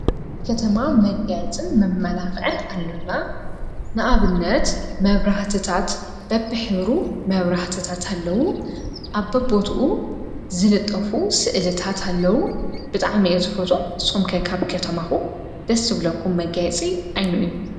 ከተማ መጋየጽን መመላኽዐን ኣሎና ንኣብነት መብራህትታት በብኅብሩ መብራህትታት ኣለዉ ኣብቦትኡ ዝልጠፉ ሥእልታት ኣለዉ ብጣዕ መኤ ዝፈጦም ስምከይካብ ከተማኹ ደስብለኩም መጋይጽ ኣይኑ እዩ።